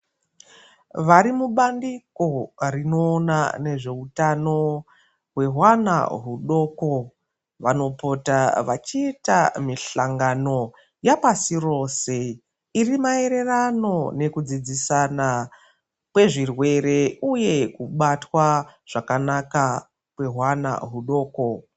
Vari mubandiko rinoona nezveutano hwehwana hwudoko vanopota vachiita mihlangano yapasi rose iri maererano nokudzidzisana kwezvirwere uye kubatwa zvakanaka kwehwana hudoko.